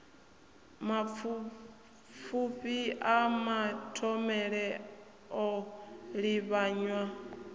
mapfufhi a mathomele o livhanywa